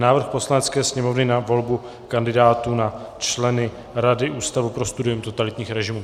Návrh Poslanecké sněmovny na volbu kandidátů na členy Rady Ústavu pro studium totalitních režimů